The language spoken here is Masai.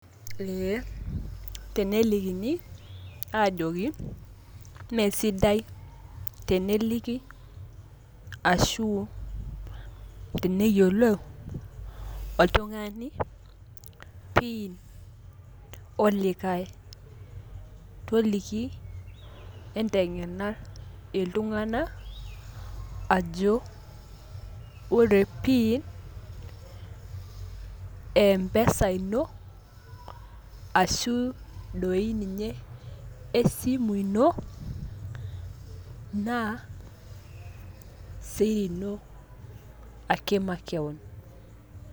ee tenelikini aajoki mme sidai teneliki ashu teneyiolou oltugani pin olikae, toliki ntengena iltungana ajo ore pin e mpesa ino ashu doi ninye esimu ino naa siri ino ake makewon.